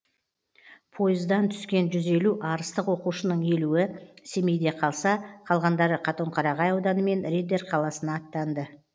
пойыздан түскен жүз елу арыстық оқушының елуі семейде қалса қалғандары қатонқарағай ауданы мен риддер қаласына аттанды